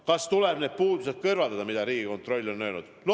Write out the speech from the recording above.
Kas tuleb need puudused kõrvaldada, mida Riigikontroll on öelnud?